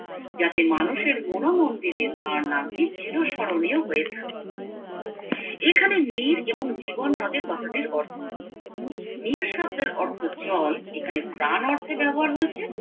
যাতে মানুষের মনো মন্দিরে তার নামটি চিরস্মরণীয় হয়ে থাকে এখানে নির এবং জীবন নদের কথাটির অর্থ কি নির শব্দের অর্থ জল এখানে প্রাণ অর্থে ব্যবহার হয়েছে